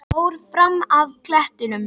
Fór fram af klettum